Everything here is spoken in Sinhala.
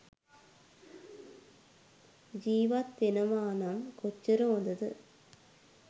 ජීවත් වෙනවා නම් කොච්චර හොඳද?